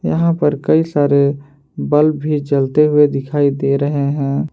यहां पर कई सारे बल्ब भी जलते हुए दिखाई दे रहे हैं।